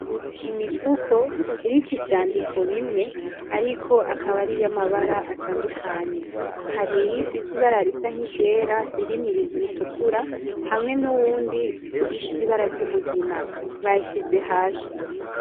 Imifuko iriko ivyandiko bimwe ariko akaba ari iy'amabara atandukanye, hari imwe ifise ibara risa nk'iryera irimwo ibintu bitukura hamwe nuwundi ufise ibara ry'umugina, bayishize hasi.